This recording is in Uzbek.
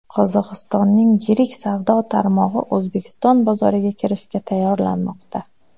Qozog‘istonning yirik savdo tarmog‘i O‘zbekiston bozoriga kirishga tayyorlanmoqda.